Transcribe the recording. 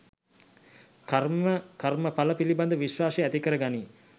කර්ම කර්මඵල පිළිබඳ විශ්වාසය ඇති කරගනියි.